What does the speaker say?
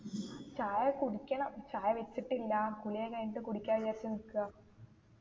ചായ കുടിക്കണം ചായ വെച്ചിട്ടില്ല കുളിയൊക്കെ കഴിഞ്ഞിട്ട് കുടിക്കാൻ വിചാരിച്ച് നിക്ക